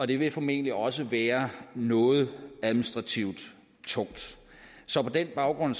det vil formentlig også være noget administrativt tungt så på den baggrund